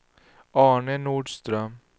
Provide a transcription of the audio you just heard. Arne Nordström